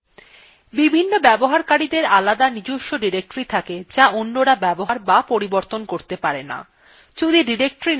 বিভিন্ন ব্যবহারকারীদের আলাদা নিজস্ব ডিরেক্টরী থাকে যা অন্যরা ব্যবহার অথবা পরিবর্তন করতে পারে না